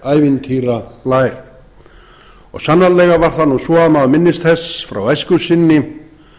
einhver ævintýrablær og sannarlega var það nú svo að maður minnist þess frá æsku sinni